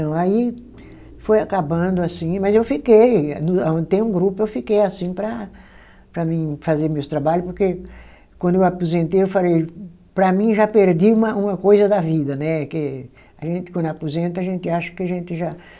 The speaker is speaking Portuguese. Aí foi acabando assim, mas eu fiquei, no aonde tem um grupo eu fiquei assim para para mim fazer meus trabalho, porque quando eu aposentei eu falei, para mim já perdi uma uma coisa da vida, né, que a gente quando aposenta a gente acha que a gente já